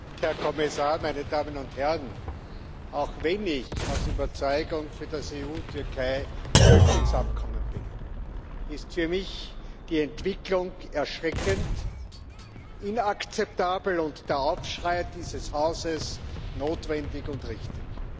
Herr Präsident, Herr Kommissar, meine Damen und Herren! Auch wenn ich aus Überzeugung für das EU Türkei Flüchtlingsabkommen bin, ist für mich die Entwicklung erschreckend, inakzeptabel und der Aufschrei dieses Hauses notwendig und richtig.